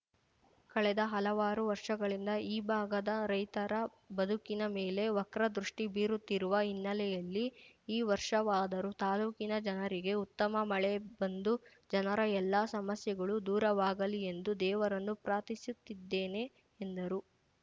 ಕಳೆದ ಹಲವಾರು ವರ್ಷಗಳಿಂದ ಈ ಭಾಗದ ರೈತರ ಬದುಕಿನ ಮೇಲೆ ವಕ್ರದೃಷ್ಟಿಬೀರುತ್ತಿರುವ ಹಿನ್ನೆಲೆಯಲ್ಲಿ ಈ ವರ್ಷವಾದರೂ ತಾಲೂಕಿನ ಜನರಿಗೆ ಉತ್ತಮ ಮಳೆ ಬಂದು ಜನರ ಎಲ್ಲ ಸಮಸ್ಯೆಗಳು ದೂರವಾಗಲಿ ಎಂದು ದೇವರನ್ನು ಪ್ರಾರ್ಥಿಸುತ್ತಿದ್ದೇನೆ ಎಂದರು